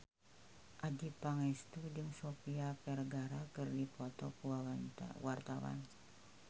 Adjie Pangestu jeung Sofia Vergara keur dipoto ku wartawan